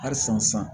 Hali san